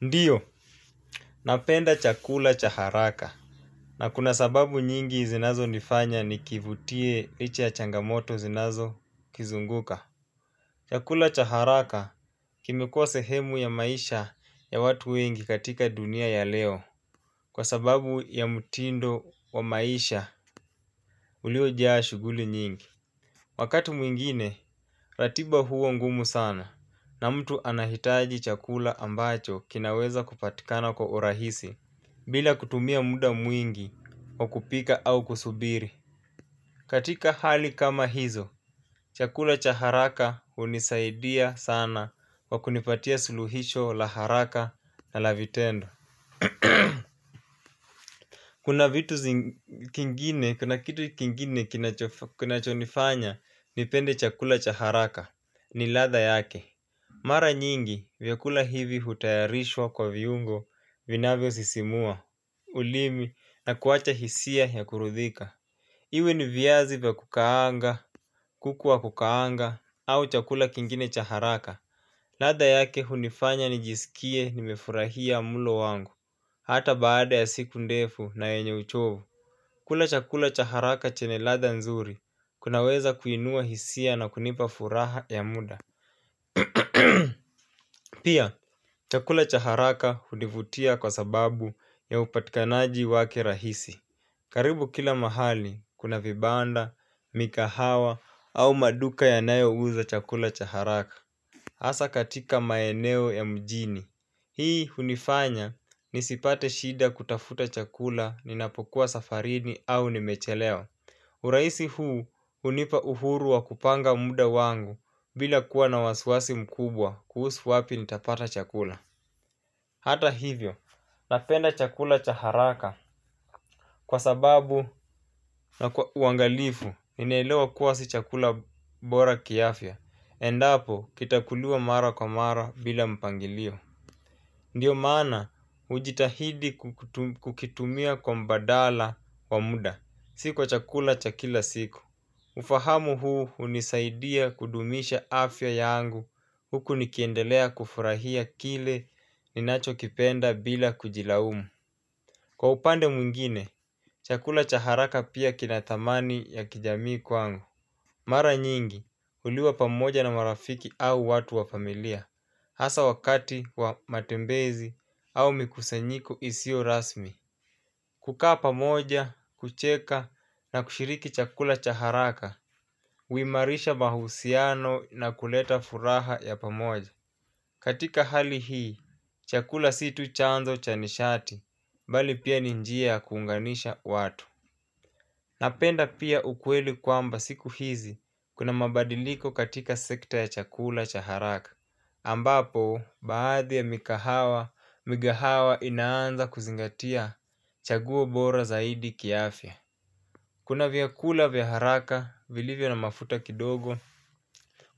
Ndio, napenda chakula cha haraka na kuna sababu nyingi zinazo nifanya nikivutie licha ya changamoto zinazo kizunguka. Chakula cha haraka kimekuwa sehemu ya maisha ya watu wengi katika dunia ya leo. Kwa sababu ya mtindo wa maisha. Uliojaa shughuli nyingi. Wakati mwingine, ratiba huwa ngumu sana, na mtu anahitaji chakula ambacho kinaweza kupatikana kwa urahisi. Bila kutumia muda mwingi wakupika au kusubiri. Katika hali kama hizo, chakula cha haraka hunisaidia sana kwa kunipatia suluhisho la haraka na la vitendo kuna kitu kingine kinachonifanya nipende chakula cha haraka; ni ladha yake. Mara nyingi, vyakula hivi hutayarishwa kwa viungo vinavyo sisimua ulimi na kuacha hisia ya kuridhika. Iwe ni viazi vya kukaanga, kuku wa kukaanga au chakula kingine cha haraka ladha yake hunifanya nijisikie nimefurahia mlo wangu. Hata baada ya siku ndefu na yenye uchovu kula chakula cha haraka chenye ladha, nzuri kunaweza kuinua hisia na kunipa furaha ya muda. Pia, chakula cha haraka hunivutia kwa sababu ya upatikanaji wake rahisi. Karibu kila mahali, kuna vibanda, mikahawa au maduka yanayouza chakula cha haraka. Hasa katika maeneo ya mjini hii hunifanya nisipate shida kutafuta chakula ninapokuwa safarini au nimechelewa. Urahisi huu hunipa uhuru wa kupanga muda wangu bila kuwa na wasi wasi mkubwa kuhusu wapi nitapata chakula. Hata hivyo, napenda chakula cha haraka kwa uangalifu ninaelewa kuwa si chakula bora kiafya endapo kitakuliwa mara kwa mara bila mpangilio. Ndio maana hujitahidi kukitumia kwa mbadala wa muda, si kwa chakula cha kila siku. Ufahamu huu hunisaidia kudumisha afya yangu huku nikiendelea kufurahia kile ninacho kipenda bila kujilaumu. Kwa upande mwingine, chakula cha haraka pia kina thamani ya kijamii kwangu. Mara nyingi, huliwa pamoja na marafiki au watu wa familia, hasa wakati wa matembezi au mikusanyiko isio rasmi. Kukaa pamoja, kucheka na kushiriki chakula cha haraka, huimarisha mahusiano na kuleta furaha ya pamoja. Katika hali hii, chakula si tu chanzo cha nishati, bali pia ni njia ya kuunganisha watu. Napenda pia ukweli kwamba siku hizi, kuna mabadiliko katika sekta ya chakula cha haraka. Ambapo, baadhi ya mikahawa, migahawa inaanza kuzingatia chaguo bora zaidi kia afya. Kuna vyakula vya haraka vilivyo na mafuta kidogo,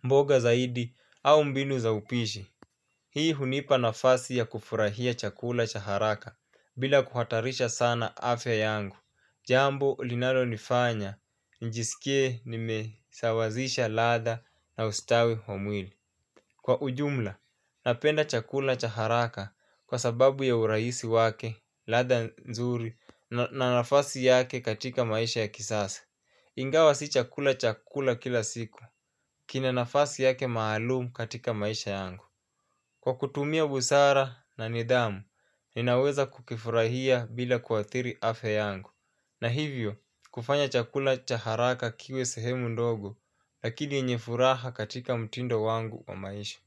mboga zaidi au mbinu za upishi. Hii hunipa nafasi ya kufurahia chakula cha haraka bila kuhatarisha sana afya yangu. Jambo linalo nifanya njisikie nimesawazisha ladha na ustawi wa mwili. Kwa ujumla, napenda chakula cha haraka kwa sababu ya urahisi wake, ladha nzuri na nafasi yake katika maisha ya kisasa. Ingawa si chakula cha kula kila siku, kina nafasi yake maalum katika maisha yangu. Kwa kutumia busara na nidhamu, ninaweza kukifurahia bila kuathiri afya yangu. Na hivyo, kufanya chakula cha haraka kiwe sehemu ndogo, lakini yenye furaha katika mtindo wangu wa maisha.